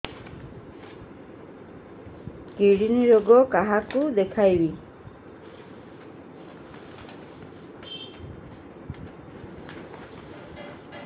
kidney ରୋଗ କାହାକୁ ଦେଖେଇବି